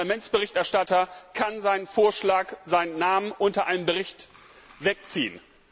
Ein Parlamentsberichterstatter kann seinen Vorschlag, seinen Namen unter einem Bericht zurückziehen.